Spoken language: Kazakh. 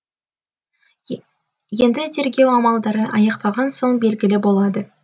енді тергеу амалдары аяқталған соң белгілі болады